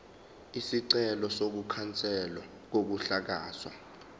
isicelo sokukhanselwa kokuhlakazwa